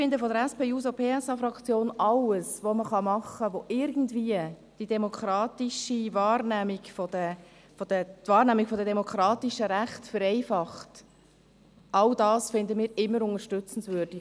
Wir von der SP-JUSO-PSA-Fraktion finden alles, was die Wahrnehmung der demokratischen Rechte irgendwie vereinfacht, immer unterstützungswürdig.